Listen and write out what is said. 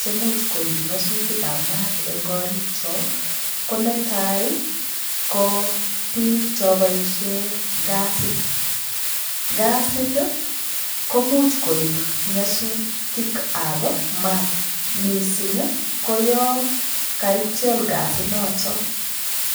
chemuch koib nyosutikab maat eng' korikcho ko netai ko biik cho boishe gasit, gasit ko much koib nyosutikab maat mising' koyoe kaityol gasinoto